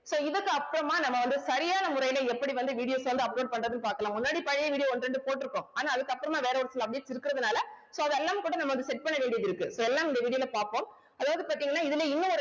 so இதுக்கு அப்புறமா நம்ம வந்து சரியான முறையில எப்படி வந்து videos வந்து upload பண்றதுன்னு பார்க்கலாம் முன்னாடி பழைய video ஒண்ணு ரெண்டு போட்டிருக்கோம் ஆனா அதுக்கு அப்புறமா வேற ஒரு இருக்கிறதுனால so அது எல்லாம் கூட நம்ம வந்து set பண்ண வேண்டியதிருக்கு so எல்லாம் இந்த video ல பார்ப்போம் அதாவது பார்த்தீங்கனா இதுல இன்னும் ஒரு